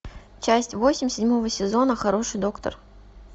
часть восемь седьмого сезона хороший доктор